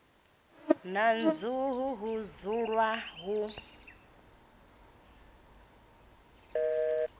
na nḓuhu ho dzulwa hu